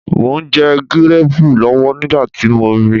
Mò ń jẹ gíréẹ̀pù lọ́wọ́ nígbà tí mo ri